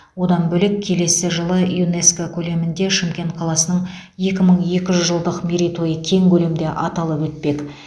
одан бөлек келесі жылы юнеско көлемінде шымкент қаласының екі мың екі жүз жылдық мерейтойы кең көлемде аталып өтпек